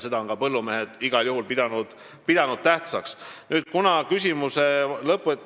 Seda on ka põllumehed igal juhul tähtsaks pidanud.